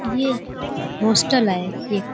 ये होस्टल है एक --